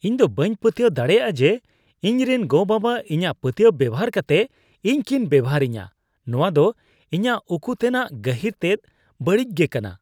ᱤᱧ ᱫᱚ ᱵᱟᱹᱧ ᱯᱟᱹᱛᱭᱟᱹᱣ ᱫᱟᱲᱮᱭᱟᱜᱼᱟ ᱡᱮ ᱤᱧᱨᱮᱱ ᱜᱚᱼᱵᱟᱵᱟ ᱤᱧᱟᱜ ᱯᱟᱹᱛᱭᱟᱹᱣ ᱵᱮᱣᱦᱟᱨ ᱠᱟᱛᱮᱫ ᱤᱧ ᱠᱤᱱ ᱵᱮᱵᱚᱦᱟᱨᱤᱧᱟ ᱾ ᱱᱚᱣᱟ ᱫᱚ ᱤᱧᱟᱜ ᱩᱠᱩᱛᱮᱱᱟᱜ ᱜᱟᱹᱦᱤᱨ ᱛᱮᱫ ᱵᱟᱹᱲᱤᱡ ᱜᱮ ᱠᱟᱱᱟ ᱾